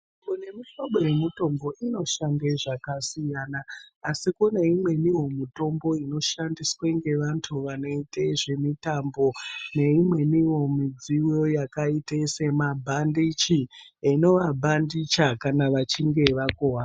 Nemihlobo yemitombo inoshanda zvakasiyana asi kuneimwewo mitombo inoshandiswa ngevantu vanoita zvemitambo neimweniwo midziyo yakaita semabhandichi inovabhandicha kana vachinge vakuwara.